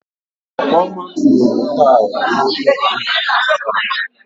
Ọfọma tinyere taịlụ n'ebe niile a na-asa ahụ